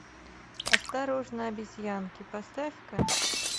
осторожно обезьянки поставь ка